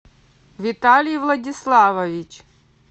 виталий владиславович